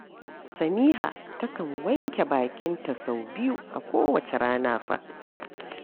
Samiha takan wanke bakinta sau biyu a kowacce rana fa